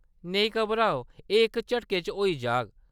नेई घबराओ, एह्‌‌ इक झटके च होई जाग।